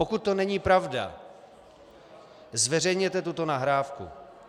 Pokud to není pravda, zveřejněte tuto nahrávku.